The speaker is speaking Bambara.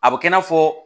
A bɛ kɛ i n'a fɔ